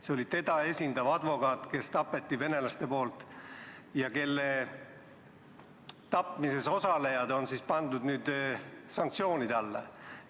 See oli teda esindav advokaat, kelle tapsid venelased ja kelle tapmises osalejad on pandud nüüd sanktsioonide alla.